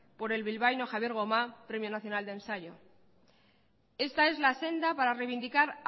por el bilbaíno javier gomá premio nacional de ensayo esta es la senda para reivindicar